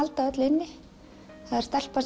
halda öllu inni það er stelpa